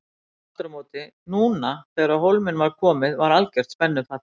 Núna aftur á móti, núna þegar á hólminn var komið var algert spennufall.